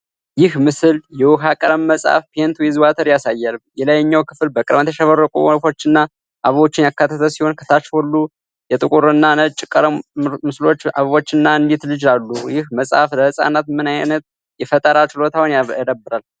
ይህ ምስል የውኃ ቀለም መጽሐፍ (Paint with Water) ያሳያል። የላይኛው ክፍል በቀለማት ያሸበረቁ ወፎችንና እባቦችን ያካተተ ሲሆን፣ ከታች ሁለት የጥቁርና ነጭ ምስሎች (አበቦችና አንዲት ልጅ) አሉ። ይህ መጽሐፍ ለህጻናት ምን ዓይነት የፈጠራ ችሎታዎችን ያዳብራል?